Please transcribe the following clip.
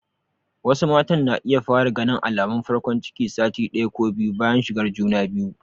Wasu matan na iya fara ganin alamun farkon ciki sati ɗaya ko biyu bayan shigar juna biyu.